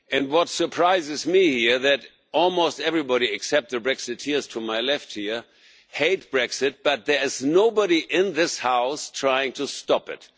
What surprises me is that almost everybody, except the Brexiteers to my left here, hate Brexit but there is nobody in this House trying to stop it.